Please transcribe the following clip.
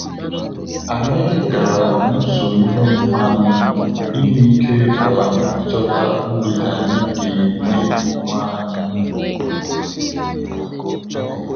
Anyị gara n'usoro ihe omume anyị i nweike um ịchọta mgbede anyị ga enye onwe anyị